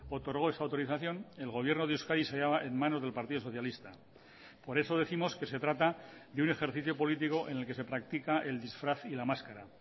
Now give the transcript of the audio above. otorgó esa autorización el gobierno de euskadi se hallaba en manos del partido socialista por eso décimos que se trata de un ejercicio político en el que se practica el disfraz y la máscara